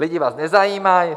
Lidi vás nezajímají.